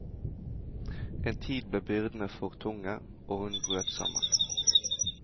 En tid ble byrdene for tunge, og hun brøt sammen.